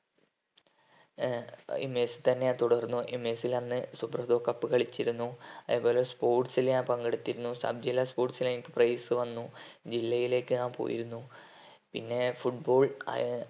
ഏർ ഈ mess തന്നെ തുടർന്നു ഈ mess ൽ അന്ന് cup കളിച്ചിരുന്നു അതുപോലെ sports ൽ ഞാൻ പങ്കെടുത്തിരുന്നു sub ജില്ലാ sports ന് എനിക്ക് prize വന്നു ജില്ലയിലേക്ക് ഞാൻ പോയിരുന്നു പിന്നെ football ആയ